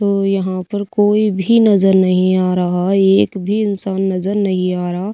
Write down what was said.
वो यहां पर कोई भी नजर नहीं आ रहा एक भी इंसान नजर नहीं आ रहा--